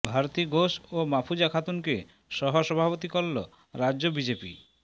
ভারতী ঘোষ ও মাফুজা খাতুনকে সহ সভাপতি করল রাজ্য বিজেপি